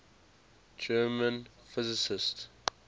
german physicists